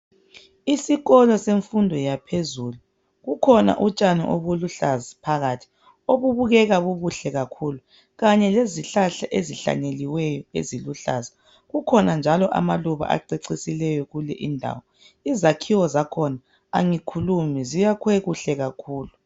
Isikolo semfundo yaphezulu kukhona utshani obuluhlaza phakathi obubukeka bubuhle kakhulu kanye lezihlahla ezihlanyeliweyo eziluhlaza kukhona njalo amaluba acecisileyo kule indawo izakhiwo zakhona angikhulumi ziyakhiwe kuhle kakhulu.